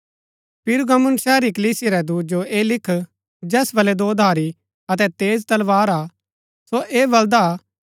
पिरगमुन शहर री कलीसिया रै दूत जो ऐह लिख जैस बलै दोधारी अतै तेज तलवार हा सो ऐ बलदा हा कि